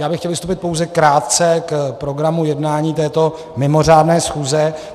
Já bych chtěl vystoupit pouze krátce k programu jednání této mimořádné schůze.